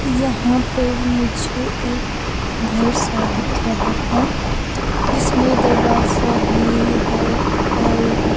यहाँ पर मुझे एक घर सा दिख रहा है जिसमें दरवाज़ा भी है और --